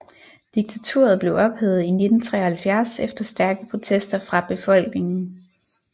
Diktaturet blev ophævet i 1973 efter stærke protester fra befolkningen